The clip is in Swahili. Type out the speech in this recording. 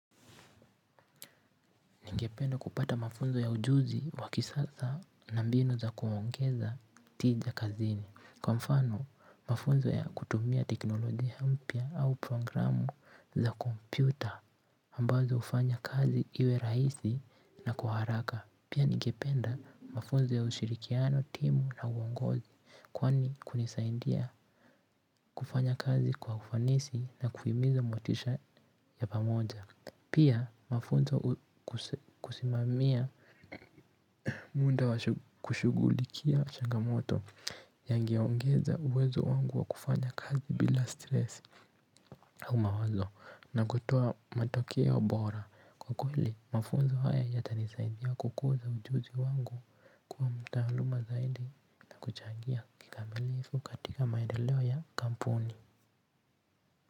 Ningependa kupata mafunzo ya ujuzi wakisasa na mbinu za kuongeza tija kazini. Kwa mfano, mafunzo ya kutumia teknolojia mpya au programu za kompyuta ambazo ufanya kazi iwe rahisi na kwa haraka. Pia ningependa mafunzo ya ushirikiano timu na uongozi kwani kunisaindia kufanya kazi kwa ufanisi na kuhimiza motisha ya pamoja. Pia mafunzo kusimamia muda wa kushugulikia shangamoto yangi yaongeza uwezo wangu wa kufanya kazi bila stress au mawaozo na kutoa matokeo bora. Kwa kweli mafunzo haya ya tanisaidia kukuza ujuzi wangu kuwa mtaaluma zaidi na kuchangia kikamilifu katika maendeleo ya kampuni.